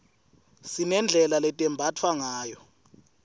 sinedlela letembatfwa ngayo